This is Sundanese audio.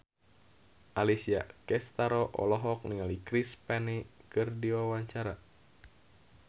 Alessia Cestaro olohok ningali Chris Pane keur diwawancara